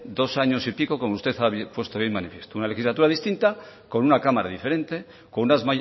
dos años y pico como usted ha puesto de manifiesto una legislatura distinta con una cámara diferente con unas